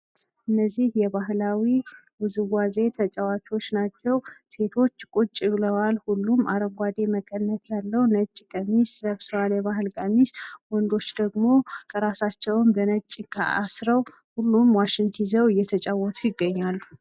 እነዚህ የባህላዊ ጨዋታ ተወዛዋዥ ናቸው። ሴቶች ቁጭ ብለዋል ሁሉም አረንጓዳ መቀነት ያለው ቀሚስ ለብሰዋል የባህል ቀሚስ። ወንዶች ደግሞ ራሳቸውን በሻሽ አስረው ዋሽንት ይዘው እየተጫወቱ ይገኛሉ።